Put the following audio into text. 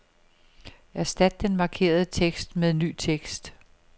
Erstat den markerede tekst med ny tekst.